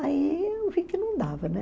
Aí eu vi que não dava, né?